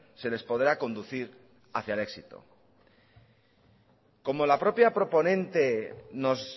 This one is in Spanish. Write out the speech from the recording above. se les podrá conducir hacia el éxito como la propia proponente nos